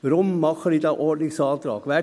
Weshalb stelle ich diesen Ordnungsantrag?